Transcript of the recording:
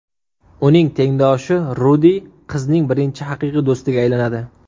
Uning tengdoshi Rudi qizning birinchi haqiqiy do‘stiga aylanadi.